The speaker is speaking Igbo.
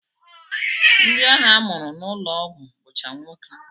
Ndị ahụ a mụrụ n'ụlọọgwụ bụcha nwoke